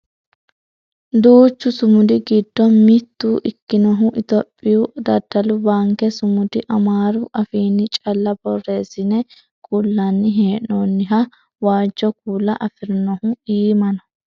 duuchu sumudi giddo mitto ikinohu itiyophiyu daddalu baanke sumudi amaaru afiinni calla borreessine kullanni hee'noonnihu waajjo kuula afirinohu iima no